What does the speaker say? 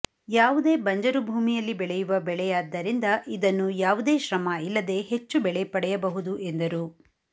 ಯಾವುದೇ ಬಂಜರು ಭೂಮಿಯಲ್ಲಿ ಬೆಳೆಯುವ ಬೆಳೆಯಾದ್ದರಿಂದ ಇದನ್ನು ಯಾವುದೇ ಶ್ರಮ ಇಲ್ಲದೆ ಹೆಚ್ಚು ಬೆಳೆ ಪಡೆಯಬಹುದು ಎಂದರು